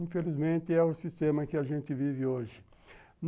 Infelizmente, é o sistema que a gente vive hoje.